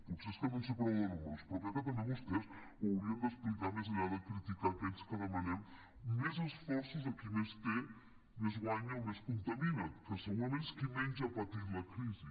potser és que no en sé prou de números però crec que també vostès ho haurien d’explicar més enllà de criticar aquells que demanem més esforços a qui més té més guanya o més contamina que segurament és qui menys ha patit la crisi